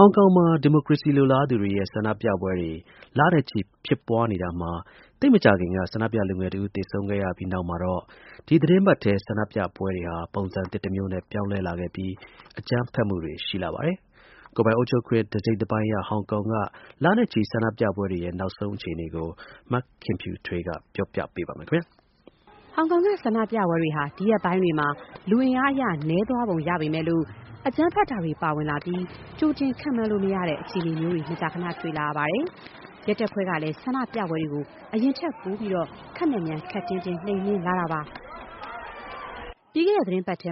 ောင်ကောင်မှာ ဒီမိုကရေစီလိုလားသူတွေရဲ့ ဆန္ဒပြပွဲတွေ လနဲ့ချီ ဖြစ်ပွားနေတာမှာ သိပ်မကြာခင်က ဆန္ဒပြလူငယ်တဦး သေဆုံးခဲ့ရပြီး နောက်မှာတော့ ဒီသီတင်းပတ်ထဲ ဆန္ဒပြပွဲတွေဟာ ပုံစံသစ်တမျိုးနဲ့ ပြောင်းလဲလာခဲ့ပြီး အကြမ်းဖက်မှုတွေ ရှိလာပါတယ်။ ကိုယ်ပိုင်အုပ်ချုပ်ခွင့် တစိတ်တပိုင်းရ ဟောင်ကောင်က လနဲ့ချီ ဆန္ဒပြပွဲတွေရဲ့ နောက်ဆုံးအခြေအနေကို မခင်ဖြူထွေးက ပြောပြပေးပါမယ်။ ဟောင်ကောင်က ဆန္ဒပြပွဲတွေဟာ ဒီရက်ပိုင်းတွေမှာ လူအင်အားအရ နည်းသွားပုံရပေမဲ့၊ အကြမ်းဖက်တာတွေ ပါဝင်လာပြီး ကြိုတင် ခန့်မှန်းလို့မရတဲ့ အခြေအနေမျိုးတွေ မကြာခန တွေ့လာရပါတယ်။ ရဲတပ်ဖွဲ့တွေကလည်း ဒီဆန္ဒပြပွဲတွေကို အရင်ထပ်ပိုပြီး ခပ်မြန်မြန် ခပ်တင်းတင်း နှိမ်နင်းလာပါတယ်။ ပြီးခဲ့တဲ့သီတင်းပတ်ထဲ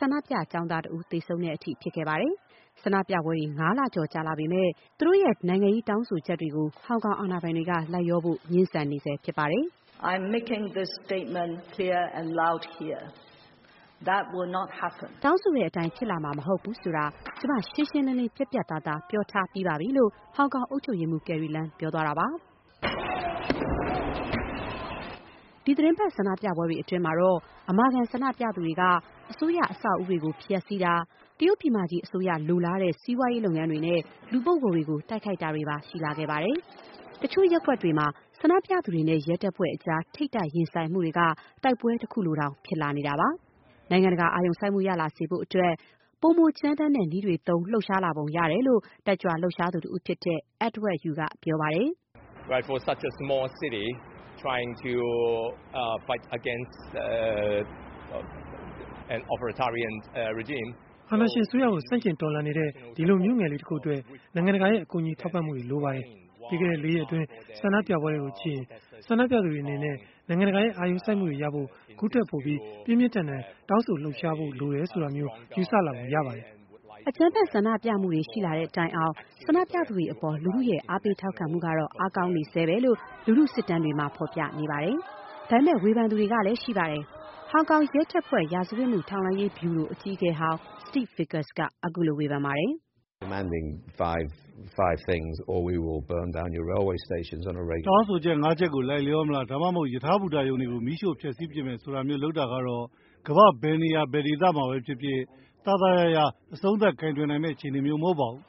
ဆန္ဒပြ ကျောင်းသားလူငယ်တဦး သေဆုံးတဲ့အထိ ဖြစ်ခဲ့ပါတယ်။ ဆန္ဒပြပွဲတွေ ၅ လကျော် ကြာလာခဲ့ပေမဲ့၊ ဆန္ဒပြသူတွေရဲ့ နိုင်ငံရေးတောင်းဆိုချက်တွေကို ဟောင်ကောင်အာဏာပိုင်တွေက လိုက်လျောဖို့ ငြင်းဆန်နေဆဲဖြစ်ပါတယ်။ "တောင်းဆိုတဲ့အတိုင်း ဖြစ်လာမှာမဟုတ်ဘူးဆိုတာ ကျမ ရှင်းရှင်းလင်းလင်း ပြတ်ပြတ်သားသား ပြောပြီးသားပဲ။” - လို့ ဟောင်ကောင် အုပ်ချုပ်ရေးမှူး ကယ်ရီလမ်း ပြောသွားတာပါ။ ဒီသီတင်းပတ် ဆန္ဒပြပွဲတွေအတွင်းမှာတော့ အမာခံ ဆန္ဒပြသူတွေဟာ အစိုးရအဆောက်အဦးတွေကို ဖျက်ဆီးတာ၊ တရုတ်ပြည်မကြီး အစိုးရ လိုလားတဲ့ စီးပွားရေးလုပ်ငန်းတွေနဲ့ လူပုဂ္ဂိုလ်တွေကို တိုက်ခိုက်တာတွေပါ ရှိလာခဲ့ပါတယ်။ တချို့ရပ်ကွက်တွေမှာ ဆန္ဒပြသူတွေနဲ့ ရဲတပ်ဖွဲ့ကြား ထိပ်တိုက်ရင်ဆိုင်မှုတွေက တိုက်ပွဲတခုလိုတောင် ဖြစ်လာပါတယ်။ နိုင်ငံတကာ အာရုံစိုက်မှု ရလာစေဖို့အတွက် ပိုမိုကြမ်းတမ်းတဲ့နည်းတွေသုံး လှုပ်ရှားလာပုံရတယ်လို့ လှုပ်ရှားတက်ကြွသူတဦးဖြစ်တဲ့ Edward Yiu က ပြောပါတယ်။ “အာဏာရှင်အစိုးရကို ဆန့်ကျင်တော်လှန်နေတဲ့ ဒီလိုမြို့ငယ်လေးတခုအတွက် နိုင်ငံတကာရဲ့ ကူညီထောက်ပံ့မှု လိုပါတယ်။ ပြီးခဲ့တဲ့ လေးရက် ဆန္ဒပြမှုတွေကိုကြည့်ရင် ဆန္ဒပြသူတွေအနေနဲ့ နိုင်ငံတကာရဲ့ အာရုံစိုက်မှုရဖို့အတွက် ခုထပ်ပိုပြီး ပြင်းပြင်းထန်ထန် တောင်းဆိုတာ လှုပ်ရှားတာတွေ လုပ်ရမယ်ဆိုတာမျိုး ယူဆလာပုံရှိပါတယ်။” အကြမ်းဖက်ဆန္ဒပြမှုတွေ ရှိလာတဲ့တိုင်အောင် ဆန္ဒပြသူတွေအပေါ် လူထုရဲ့ အားပေးထောက်ခံမှု အားကောင်းနေဆဲပဲ ဆိုတာကို လူထုစစ်တမ်းတွေက ဖော်ပြနေပါတယ်။ ဒါပေမဲ့လည်း ဝေဖန်သူတွေလည်း ရှိပါတယ်။ ဟောင်ကောင် ရဲတပ်ဖွဲ့ ရာဇဝတ်မှု ထောက်လှမ်းရေးဗျူရို အကြီးအကဲဟောင်း Steve Vickers က ခုလို ဝေဖန်ပါတယ်။ “တောင်းဆိုချက် ၅ ချက်ကို လိုက်လျောမလား။ ဒါမှမဟုတ် ရထားဘူတာရုံတွေကို မီးရှို့ဖျက်ဆီးပစ်မယ် ဆိုတာမျိုး လုပ်တာကတော့ ကမ္ဘာ့ ဘယ်နေရာ ဘယ်ဒေသမှာပဲဖြစ်ဖြစ် သာသာယာယာ အဆုံးသတ်ကိုင်တွယ်နိုင်မယ့် အခြေအနေမျိုး မဟုတ်ပါဘူး။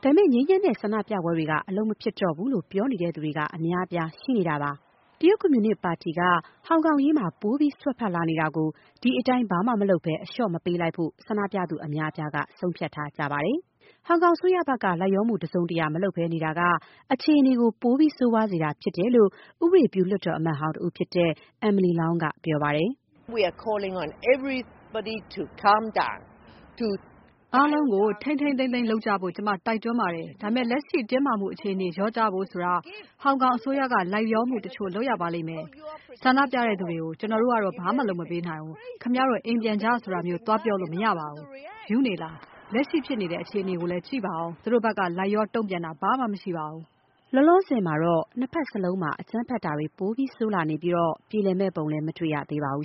” ဒါပေမဲ့ ငြိမ်းချမ်းတဲ့ဆန္ဒပြပွဲတွေက အလုပ်မဖြစ်တော့ဘူးလို့ ပြောနေသူတွေက အများအပြား ရှိနေတာပါ။ တရုတ် ကွန်မြူနစ်ပါတီက ဟောင်ကောင်အရေးမှာ ပိုပြီး စွက်ဖက်လာနေတာကို ဒီအတိုင်း အလျှော့ မပေးလိုက်ဖို့ ဆန္ဒပြသူအများအပြားက ဆုံးဖြတ်ထားကြပါတယ်။ ဟောင်ကောင်အစိုးရဘက်က လိုက်လျောမှု တစုံတရာမလုပ်ဘဲနေတာက အခြေအနေကို ပိုပြီး ဆိုးရွားစေတာဖြစ်တယ်လို့ ဥပဒေပြု လွှတ်တော် အမတ်ဟောင်းတဦးဖြစ်တဲ့ Emily Lau က ပြောပါတယ်။ “အားလုံးကို ထိန်းထိန်းသိမ်းသိမ်းလုပ်ကြဖို့ ကျမတို့ တိုက်တွန်းပါတယ်။ ဒါပေမဲ့ လက်ရှိ တင်းမာမှုအခြေအနေလျော့ကျဖို့ ဆိုတာ ဟောင်ကောင်အစိုးရက လိုက်လျောမှုတချို့ လုပ်ရပါလိမ့်မယ်။ ဆန္ဒပြသူတွေကို - ‘ကျနော်တို့ကတော့ ဘာမှလုပ်ပေးမှာမဟုတ်ဘူး။ ခင်ဗျားတို့ အိမ်ပြန်ကြ ဆိုတာမျိုး သွားပြောလို့မရပါဘူး။ ရူးနေလားရှင်…လက်ရှိဖြစ်နေတဲ့ အခြေအနေကိုလည်း ကြည့်ပါဦး။ သူတို့ဘက်က လိုက်လျော တုံ့ပြန်တာ ဘာမှမရှိပါဘူး။” လောလောဆယ်မှာတော့ နှစ်ဘက်စလုံးမှာ အကြမ်းဖက်တာတွေ ပို ဆိုးလာနေပြီး ပြေလည်မယ့်ပုံလည်း မတွေ့ရသေးပါဘူး